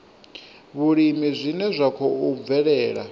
vhulimi zwine zwa khou bvelela